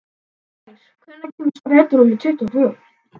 Blær, hvenær kemur strætó númer tuttugu og tvö?